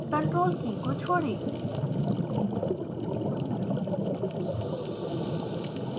ctrl की छोड़ें